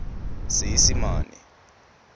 seesimane